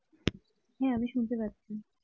হ্যাঁ আমি শুনতে পারছি।